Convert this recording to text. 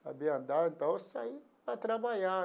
Sabia andar, então eu saí para trabalhar.